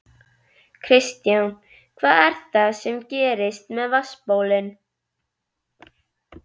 Kristján: Hvað er það sem gerist með vatnsbólin?